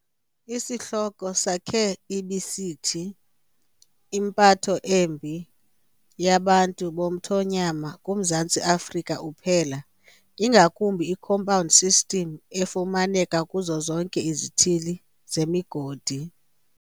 Isihloko sakhe ibisithi "impatho embi yabantu bomthonyama kuMzantsi Afrika uphela, ingakumbi iCompound System efumaneka kuzo zonke izithili zemigodi".